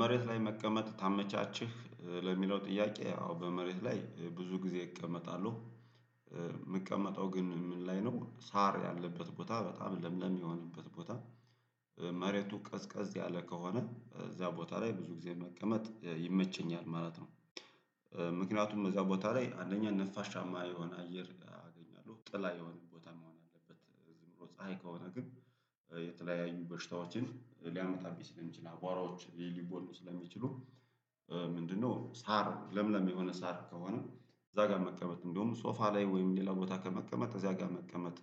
መሬት ላይ መቀመጥ ተመቻቸህ ለሚለው ጥያቄ አዎ በመሬት ላይ ብዙ ጊዜ እቀመጣለሁ። የምቀመጠው ግን ምን ላይ ነው ሳር ያለበት ቦታ በጣም ለምለም የሚሆንበት ቦታ። መሬቱ ቀዝቀዝ ያለ ከሆነ እዛ ቦታ ላይ ብዙ ጊዜ መቀመጥ ይመቸኛል ማለት ነው። ምክንያቱም እዛ ቦታ ላይ አንደኛ ነፋሻማ የሆን አየር አገኛለሁ ጥላ የሆነ ቦታ መሆን አለበት ዝም ብሎ ፀሀይ ከሆነ ግን የተለያዩ በሽታዎችን ሊያመጣብኝ ስለሚችል አቧራዎች ሊቦን ስለሚችሉ። ምንድነው? ሳር ለምለም የሆነ ሳር ከሆነ እዛ ጋር መቀመጥ እንደውም ሶፋ ላይ ወይም ሌላ ቦታ ከመቀመጥ እዛ ጋር መቀመጥ